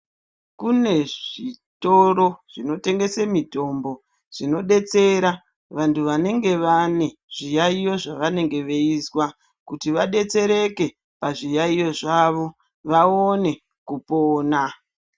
Kune zvitoro zvinotengesa mitombo zvinodetsera vantu vanenge vane zviyayiyo zvavanenge veizwa kuti vadetsereke pazviyaiyo zvawo vaone kupona.